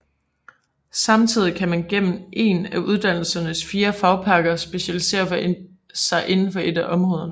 Samtidig kan man gennem en af uddannelsens fire fagpakker specialisere sig inden for et af områderne